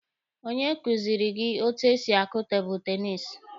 Onye kuziri gị etu esi akụ tebụlụ tenisi?